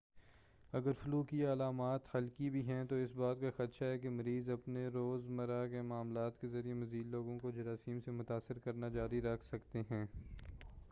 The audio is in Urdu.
اگر فلو کی علامات ہلکی بھی ہے تو اس بات کا خدشہ ہے کہ مریض اپنے روز مرہ کے معمولات کے ذریعہ مزید لوگوں کو جراثیم سے متاثر کرنا جاری رکھ سکتے ہیں